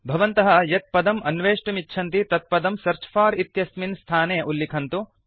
भवन्तः यत् पदम् अन्वेष्टुमिच्छन्ति तत् पदं सेऽर्च फोर इति स्थाने उल्लिखन्तु